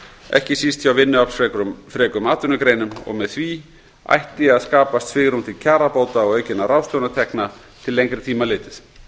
ekki síst hjá vinnuaflsfrekum atvinnugreinum og með því ætti að skapast svigrúm til kjarabóta og aukinna ráðstöfunartekna til lengri tíma litið